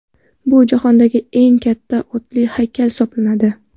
Bu jahondagi eng katta otli haykal hisoblanadi.